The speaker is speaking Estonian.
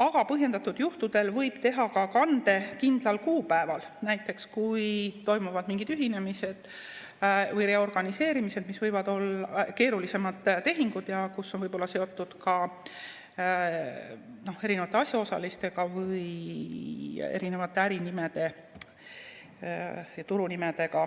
aga põhjendatud juhtudel võib teha kande ka kindlal kuupäeval, näiteks kui toimuvad mingid ühinemised või reorganiseerimised, mis võivad olla keerulisemad tehingud ja mis on võib-olla seotud ka erinevate asjaosalistega või erinevate ärinimede ja turunimedega.